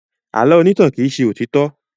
Àlọ́ onítàn kì í ṣe òtítọ́.